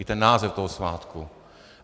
I ten název toho svátku.